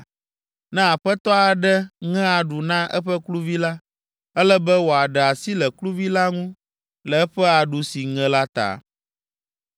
Ne aƒetɔ aɖe ŋe aɖu na eƒe kluvi la, ele be wòaɖe asi le kluvi la ŋu le eƒe aɖu si ŋe la ta.